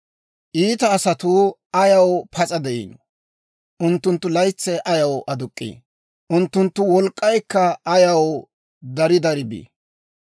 «Iita asatuu ayaw pas'a de'ino? Unttunttu laytsay ayaw aduk'k'ii? Unttunttu wolk'k'aykka ayaw dari dari bi?